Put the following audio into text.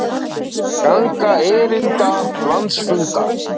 Ganga erinda landsfundar